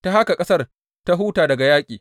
Ta haka ƙasar ta huta daga yaƙi.